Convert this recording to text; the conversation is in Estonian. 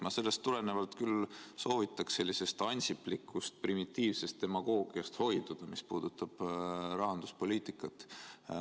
Ma sellest tulenevalt küll soovitaks hoiduda sellisest ansiplikust primitiivsest demagoogiast, mis puudutab rahanduspoliitikat.